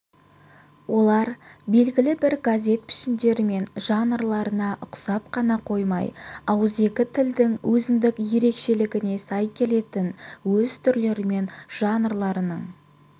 олар белгілі бір газет пішіндерімен жанрларына ұқсап қана қоймай ауызекі тілдің өзіндік ерекшелігіне сай келетін өз түрлерімен жанрларының